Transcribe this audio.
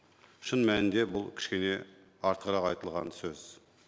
шын мәнінде бұл кішкене артығылрқ айтылған сөз